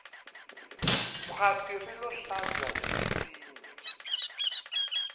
khwati rilo hlaza hi minsinya